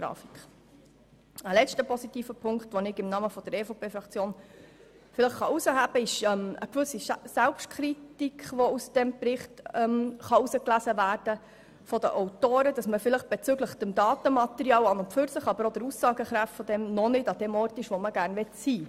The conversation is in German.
Ein letzter positiver Punkt ist eine gewisse Selbstkritik der Autoren in diesem Bericht bezüglich der Daten sowie ihrer Aussagekraft und dass man nicht dort ist, wo man sein sollte.